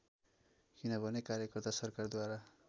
किनभने कार्यकर्ता सरकारद्वारा